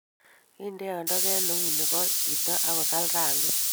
Kindeno toget neu nebo chito, akosal rangik